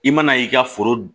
I mana y'i ka foro